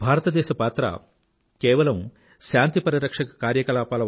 భారతదేశ పాత్ర కేవలం శాంతి పరిరక్షక కార్యకలాపాల